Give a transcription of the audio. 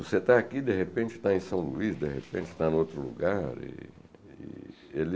Você está aqui, de repente está em São Luís, de repente está em outro lugar. E ele